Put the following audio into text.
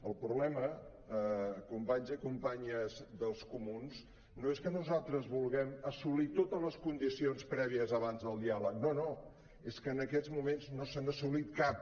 el problema companys i companyes dels comuns no és que nosaltres vulguem assolir totes les condicions prèvies abans del diàleg no no és que en aquests moments no se n’ha assolit cap